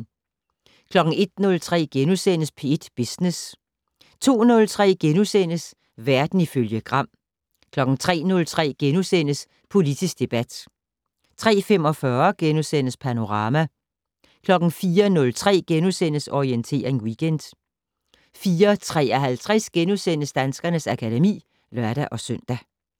01:03: P1 Business * 02:03: Verden ifølge Gram * 03:03: Politisk debat * 03:45: Panorama * 04:03: Orientering Weekend * 04:53: Danskernes akademi *(lør-søn)